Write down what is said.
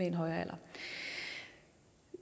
en højere alder